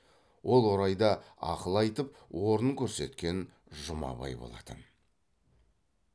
ол орайда ақыл айтып орын көрсеткен жұмабай болатын